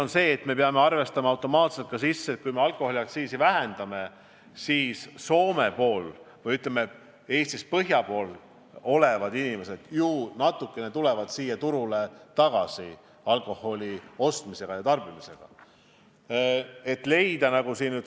On selge, et me peame arvestama, et kui me alkoholiaktsiisi vähendame, siis Soome ja mingil määral Põhja-Eesti inimesed tulevad alkoholi ostes meie turule tagasi.